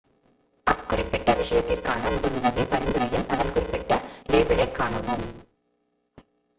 அக்குறிப்பிட்ட விஷத்திற்கான முதலுதவி பரிந்துரையில் அதன் குறிப்பிட்ட லேபிளைக் காணவும்